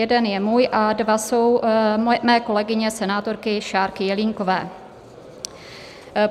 Jeden je můj a dva jsou mé kolegyně senátorky Šárky Jelínkové.